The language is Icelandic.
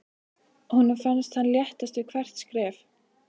Honum fannst hann léttast við hvert skref.